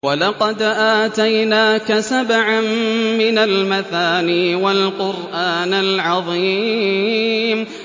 وَلَقَدْ آتَيْنَاكَ سَبْعًا مِّنَ الْمَثَانِي وَالْقُرْآنَ الْعَظِيمَ